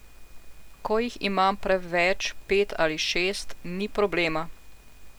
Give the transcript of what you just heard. Ko jih imam preveč pet ali šest, ni problema.